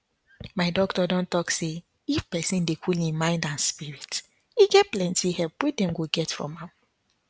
my doctor don talk say if pesin dey cool im mind and spirit e get plenty help wey dem go get from am